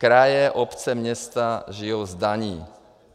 Kraje, obce, města žijí z daní.